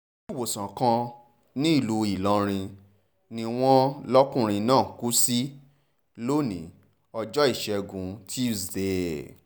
iléewòsàn kan nílùú ìlọrin ni wọ́n lọ́kùnrin náà kú sí lónìí ọjọ́ ìṣẹ́gun túṣídéé